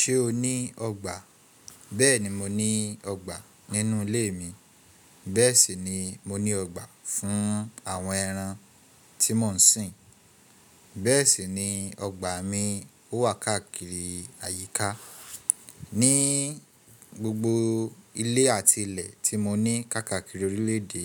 Ṣé o ní ọgbà? Bẹ́ẹ̀ni mo ní ọgbà nínú ilé mi, bẹ́ẹ̀ sì ni mo ní ọgbà fún àwọn ẹran tí mò ń sìn, bẹ́ẹ̀ sì ni ọgbà mi ó wà káàkiri àyíká. Ní gbogbo ilé àti ilẹ̀ tí mo ní kákàkiri orílẹ̀ èdè,